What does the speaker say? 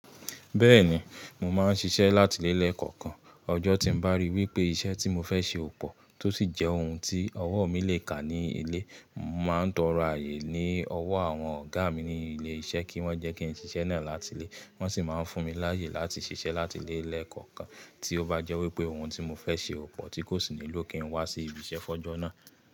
Bẹ́ẹ̀ni, mo máa ń ṣiṣẹ́ láti ile le kọ̀ọ̀kan. Ọjọ́ tí n bá ríi wípé iṣẹ́ tí mo fẹ́ ṣe ò pọ̀ tó sì jẹ́ oun tí ọwọ́ mi lè kà ní ilé, n màá ń tọrọ ààyè ní ọwọ́ àwọn ọ̀gá mi ní ilé iṣẹ́ kí wọ́n jẹ́ kí n ṣiṣẹ́ náà láti ilé, wọ́n sì máa ń fún mi láàyè láti ṣiṣẹ́ láti ilé le kọ̀ọ̀kan tí ó bá jẹ́ wípé oun tí mo fẹ́ ṣe ò pọ̀ tí kò sì nílò kí n wá sí ibi iṣẹ́ f'ọjọ́ náà.